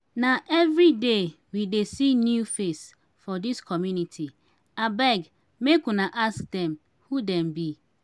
na everyday we dey see new face for dis community abeg make una ask dem who dem be.